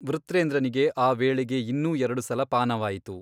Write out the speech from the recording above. ವೃತ್ರೇಂದ್ರನಿಗೆ ಆ ವೇಳೆಗೆ ಇನ್ನೂ ಎರಡು ಸಲ ಪಾನವಾಯಿತು.